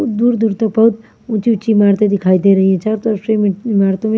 दूर दूर तक बहुत ऊंची ऊंची इमारतें दिखाई दे रही है चारों तरफ से इमारतें --